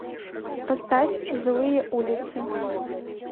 поставь злые улицы